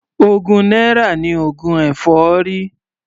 Ogún náírà ni oògùn èfọ́rí.